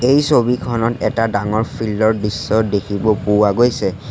এই ছবিখনত এটা ডাঙৰ ফিল্ড ৰ দৃশ্য দেখিব পোৱা গৈছে।